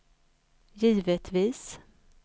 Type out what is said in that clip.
givetvis